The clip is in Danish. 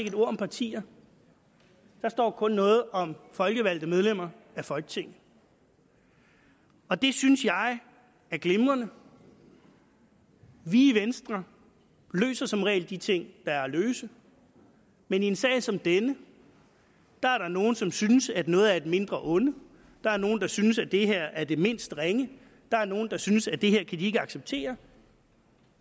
et ord om partier der står kun noget om folkevalgte medlemmer af folketinget og det synes jeg er glimrende vi i venstre løser som regel de ting der er at løse men i en sag som denne er der nogle som synes at noget er et mindre onde der er nogle der synes at det her er det mindst ringe der er nogle der synes at det her kan de ikke acceptere